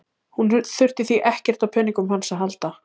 Hún þurfi því ekkert á peningunum hans að halda.